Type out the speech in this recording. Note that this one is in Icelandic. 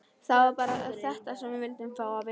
Það var bara þetta sem við vildum fá að vita.